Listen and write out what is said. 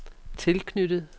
tilknyttet